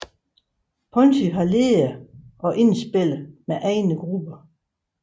Ponty har ledet og indspillet med egne grupper